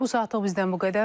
Bu saatlıq bizdən bu qədər.